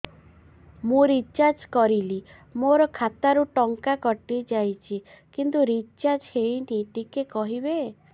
ମୁ ରିଚାର୍ଜ କରିଲି ମୋର ଖାତା ରୁ ଟଙ୍କା କଟି ଯାଇଛି କିନ୍ତୁ ରିଚାର୍ଜ ହେଇନି ଟିକେ କହିବେ